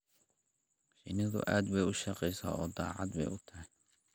Shinnidu aad bay u shaqaysaa oo daacad bay u tahay.